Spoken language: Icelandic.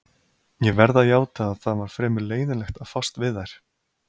Ég verð að játa að það var fremur leiðinlegt að fást við þær.